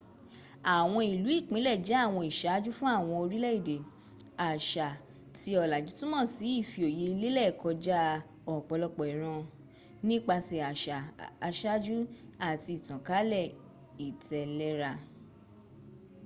àwọn ìlú-ìpinle jẹ àwọn ìsáájú fún àwọn orílè-èdè àsà tí ọ̀làjù túnmò sí ìfìoyẹ lẹ́lẹ̀ kọjá ọ̀pọ̀lọpọ̀ ìran nípasẹ̀ àsà asájú àti ìtànkálẹ̀ ìtẹ̀lẹ́ra